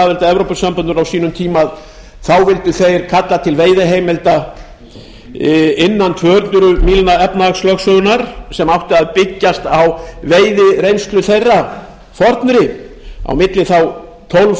að evrópusambandinu á sínum tíma vildu þeir kalla til veiðiheimilda innan tvö hundruð mílna efnahagslögsögunnar sem átti að byggjast á veiðireynslu þeirra fornri á milli tólf